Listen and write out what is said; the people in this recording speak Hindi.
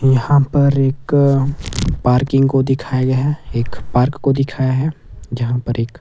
यहां पर एक पार्किंग को दिखाया गया है एक पार्क को दिखाया है जहां पर एक --